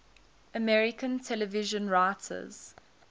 american television writers